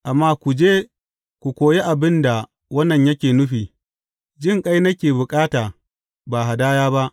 Amma ku je ku koyi abin da wannan yake nufi, Jinƙai nake bukata, ba hadaya ba.’